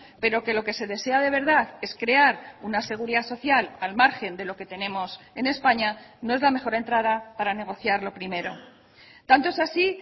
pero que lo que se desea de verdad es crear una seguridad social al margen de lo que tenemos en españa no es la mejor entrada para negociar lo primero tanto es así